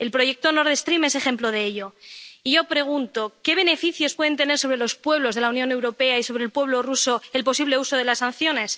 el proyecto Nord Stream es ejemplo de ello. Y yo pregunto ¿qué beneficios puede tener sobre los pueblos de la Unión Europea y sobre el pueblo ruso el posible uso de las sanciones?